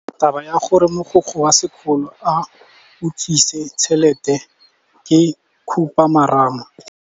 Taba ya gore mogokgo wa sekolo o utswitse tšhelete ke khupamarama.